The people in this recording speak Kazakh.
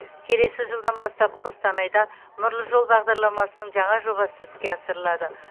келесі жылдан бастап қостанайда нұрлы жол бағдарламасының жаңа жобасы іске асырылады